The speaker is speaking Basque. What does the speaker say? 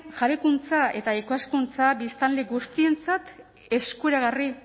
jabekuntza eta ikaskuntza biztanle guztientzat eskuragarri